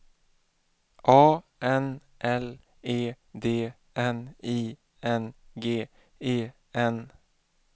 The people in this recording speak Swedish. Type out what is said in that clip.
A N L E D N I N G E N